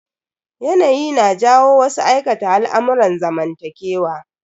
Yanayi na jawo wasu aikata al'amurran zamantakewa.